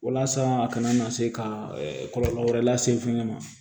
Walasa a kana na se ka kɔlɔlɔ wɛrɛ lase fɛnkɛ ma